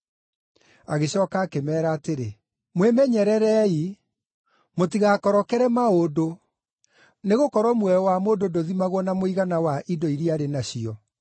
Agĩcooka akĩmeera atĩrĩ, “Mwĩmenyererei! Mũtigakorokere maũndũ; nĩgũkorwo muoyo wa mũndũ ndũthimagwo na mũigana wa indo iria arĩ nacio.”